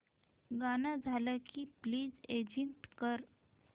गाणं झालं की प्लीज एग्झिट कर